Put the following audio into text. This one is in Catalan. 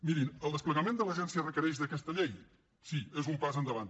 mirin el desplegament de l’agència requereix aquesta llei sí és un pas endavant